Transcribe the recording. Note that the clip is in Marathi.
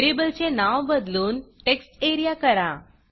व्हेरिएबलचे नाव बदलून textareaटेक्स्ट एरिया करा